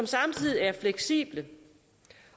samtidig er fleksible